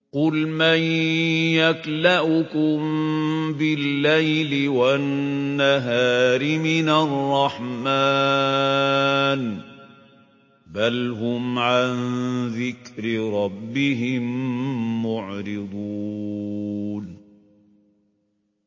قُلْ مَن يَكْلَؤُكُم بِاللَّيْلِ وَالنَّهَارِ مِنَ الرَّحْمَٰنِ ۗ بَلْ هُمْ عَن ذِكْرِ رَبِّهِم مُّعْرِضُونَ